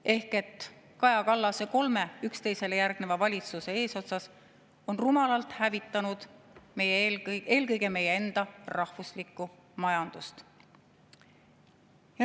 Ehk Kaja Kallas kolme üksteisele järgneva valitsuse eesotsas on rumalalt hävitanud eelkõige meie enda rahvuslikku majandust.